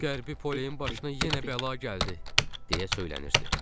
Qərbi Poleyin başına yenə bəla gəldi, deyə söylənirdi.